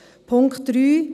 Punkt 3